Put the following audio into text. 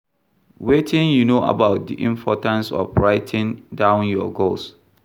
Wetin you know about di importance of writing down your goals?